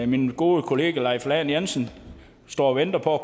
min gode kollega leif lahn jensen står og venter på at